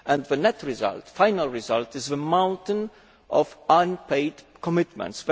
And the net result, the final result, is the mountain of unpaid commitments.